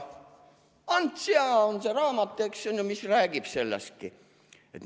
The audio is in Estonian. "Ants ja" on see raamat, mis räägib sellest.